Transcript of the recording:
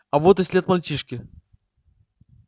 а вот и след мальчишки